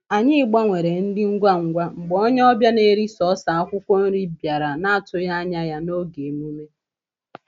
Anyị gbanwere nri ngwa ngwa mgbe onye ọbịa na-eri sọọsọ akwụkwọ nri bịara na-atụghị anya ya n’oge emume.